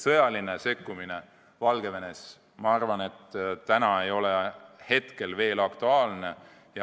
Sõjaline sekkumine Valgevenes ei ole minu arvates praegu veel aktuaalne.